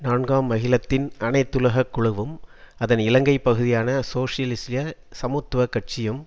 நான்காம் அகிலத்தின் அனைத்துலக குழுவும் அதன் இலங்கை பகுதியான சோசியலிச சமத்துவ கட்சியும்